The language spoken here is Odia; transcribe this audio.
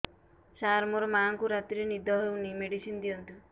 ସାର ମୋର ମାଆଙ୍କୁ ରାତିରେ ନିଦ ହଉନି ମେଡିସିନ ଦିଅନ୍ତୁ